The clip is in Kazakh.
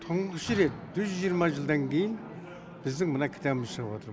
тұңғыш рет жүз жиырма жылдан кейін біздің мына кітабымыз шығып отыр